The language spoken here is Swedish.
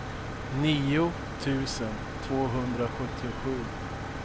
nio tusen tvåhundrasjuttiosju